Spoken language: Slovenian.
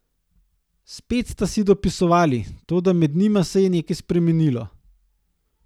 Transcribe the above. Spet sta si dopisovali, toda med njima se je nekaj spremenilo.